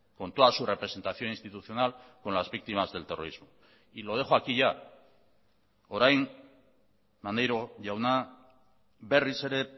con toda su representación institucional con las víctimas del terrorismo y lo dejo aquí ya orain maneiro jauna berriz ere